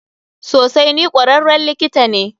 Sosai, ni kwararren likita ne.